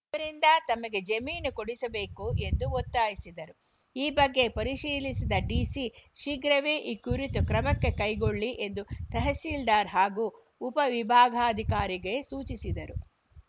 ಇವರಿಂದ ತಮಗೆ ಜಮೀನು ಕೊಡಿಸಬೇಕು ಎಂದು ಒತ್ತಾಯಿಸಿದರು ಈ ಬಗ್ಗೆ ಪರಿಶೀಲಿಸಿದ ಡಿಸಿ ಶೀಘ್ರವೇ ಈ ಕುರಿತು ಕ್ರಮಕ್ಕೆ ಕೈಗೊಳ್ಳಿ ಎಂದು ತಹಶೀಲ್ದಾರ್‌ ಹಾಗೂ ಉಪವಿಭಾಗಾಧಿಕಾರಿಗೆ ಸೂಚಿಸಿದರು